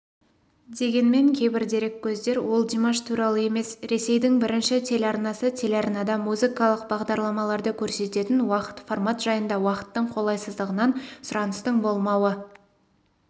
дегенмен кейбір дереккөздер ол димаш туралы емес ресейдің бірінші телеарнасы телеарнада музыкалық бағдарламаларды көрсететін уақыт формат жайында уақыттың қолайсыздығынан сұраныстың болмауы